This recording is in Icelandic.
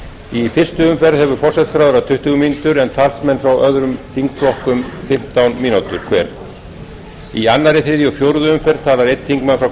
í fyrstu umferð hefur forsætisráðherra tuttugu mínútur en talsmenn frá öðrum þingflokkum fimmtán mínútur hver í öðru þriðja og fjórðu umferð talar einn þingmaður frá